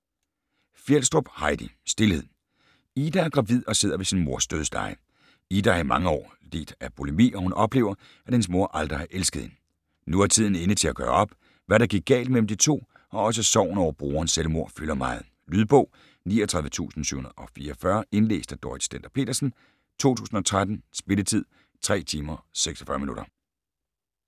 Fjelstrup, Heidi: Stilhed Ida er gravid og sidder ved sin mors dødsleje. Ida har i mange år lidt af bulimi, og hun oplever, at hendes mor aldrig har elsket hende. Nu er tiden inde til at gøre op, hvad der gik galt mellem de to, og også sorgen over brorens selvmord fylder meget. Lydbog 39744 Indlæst af Dorrit Stender-Petersen, 2013. Spilletid: 3 timer, 46 minutter.